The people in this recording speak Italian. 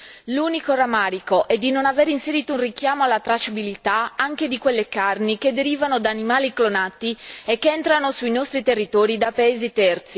L'unico rammarico è di non avere inserito un richiamo alla tracciabilità anche di quelle carni che derivano da animali clonati e che entrano nei nostri territori da paesi terzi.